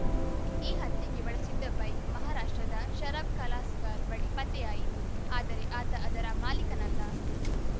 ಈ ಹತ್ಯೆಗೆ ಬಳಸಿದ್ದ ಬೈಕ್‌ ಮಹಾರಾಷ್ಟ್ರದ ಶರದ್‌ ಕಲಾಸ್ಕರ್‌ ಬಳಿ ಪತ್ತೆಯಾಯಿತು ಆದರೆ ಆತ ಅದರ ಮಾಲೀಕನಲ್ಲ